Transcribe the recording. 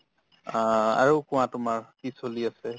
অ, আৰু কোৱা তোমাৰ কি চলি আছে ?